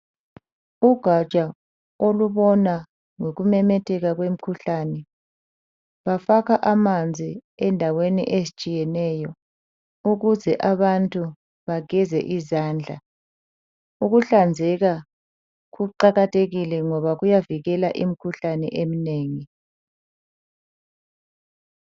Ugaja olubona ngokumemetheka kwemikhuhlane, lufaka amanzi endaweni ezitshiyeneyo, ukuze abantu bageze izandla. ukuhlanzeka kuqakathekile ngoba kuyavikela imikhuhlane eminengi.